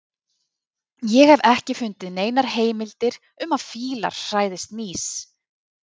Ég hef ekki fundið neinar heimildir um að fílar hræðist mýs.